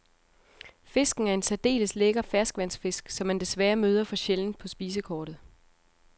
Fisken er en særdeles lækker ferskvandsfisk, som man desværre møder for sjældent på spisekortet.